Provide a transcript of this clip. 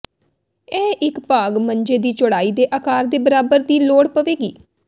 ਇਹ ਇੱਕ ਭਾਗ ਮੰਜੇ ਦੀ ਚੌੜਾਈ ਦੇ ਆਕਾਰ ਦੇ ਬਰਾਬਰ ਦੀ ਲੋੜ ਪਵੇਗੀ